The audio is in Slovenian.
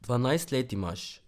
Dvanajst let imaš.